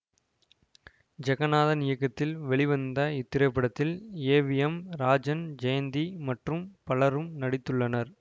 ஜெகநாதன் இயக்கத்தில் வெளிவந்த இத்திரைப்படத்தில் A V M Rajan Jayanthi மற்றும் பலரும் நடித்துள்ளனர்